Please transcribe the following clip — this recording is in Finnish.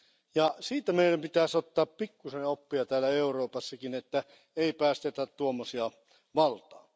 Ja siitä meidän pitäisi ottaa pikkusen oppia täällä Euroopassakin, että ei päästetä tuommoisia valtaan.